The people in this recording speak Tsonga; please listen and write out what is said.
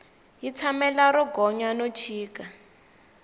yi tshamela ro gonya no chika